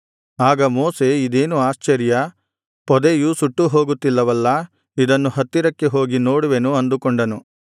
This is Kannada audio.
ಆಗ ಮೋಶೆ ಇದೇನು ಆಶ್ಚರ್ಯ ಪೊದೆಯು ಸುಟ್ಟು ಹೋಗುತ್ತಿಲ್ಲವಲ್ಲಾ ಇದನ್ನು ಹತ್ತಿರಕ್ಕೆ ಹೋಗಿ ನೋಡುವೆನು ಅಂದುಕೊಂಡನು